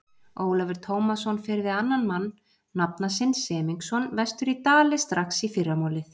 Ólafur Tómasson fer við annan mann, nafna sinn Semingsson, vestur í Dali strax í fyrramálið.